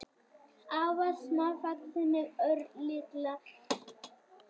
Afar smávaxin, með örlitlar hendur og herðakistil, brosandi upp á þau af gleðisnauðri undirgefni.